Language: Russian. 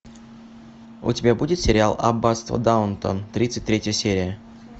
у тебя будет сериал аббатство даунтон тридцать третья серия